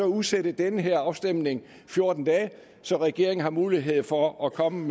udsætte den her afstemning fjorten dage så regeringen har mulighed for at komme